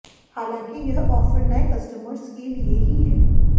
हालांकि यह ऑफर नए कस्टमर्स के लिए ही है